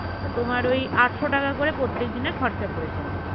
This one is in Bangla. তা তোমার ঐ আটশ টাকা করে প্রত্যেক দিনের খরচা পড়েছিল